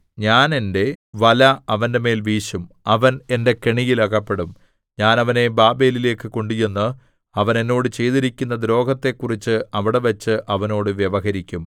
ഞാൻ എന്റെ വല അവന്റെമേൽ വീശും അവൻ എന്റെ കെണിയിൽ അകപ്പെടും ഞാൻ അവനെ ബാബേലിലേക്ക് കൊണ്ടുചെന്ന് അവൻ എന്നോട് ചെയ്തിരിക്കുന്ന ദ്രോഹത്തെക്കുറിച്ച് അവിടെവച്ച് അവനോട് വ്യവഹരിക്കും